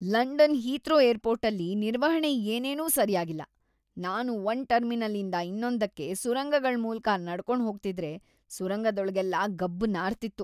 London Heathrow ಏರ್‌ಪೋರ್ಟಲ್ಲಿ ನಿರ್ವಹಣೆ ಏನೇನೂ ಸರ್ಯಾಗಿಲ್ಲ. ನಾನು ಒಂದ್ ಟರ್ಮಿನಲ್‌ ಇಂದ ಇನ್ನೊಂದಕ್ಕೆ ಸುರಂಗಗಳ್ ಮೂಲ್ಕ ನಡ್ಕೊಂಡ್‌ ಹೋಗ್ತಿದ್ರೆ ಸುರಂಗದೊಳಗೆಲ್ಲ ಗಬ್ಬು ನಾರ್ತಿತ್ತು.